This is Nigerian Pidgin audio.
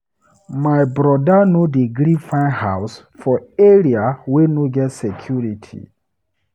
My broda no dey gree find house for area wey no get security.